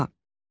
A.